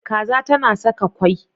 Kaza tana Saka kwai.